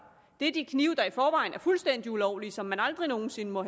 er de knive der i forvejen er fuldstændig ulovlige som man aldrig nogen sinde må